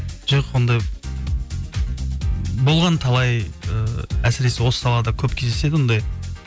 жоқ ондай болған талай ыыы әсіресе осы салада көп кездеседі ондай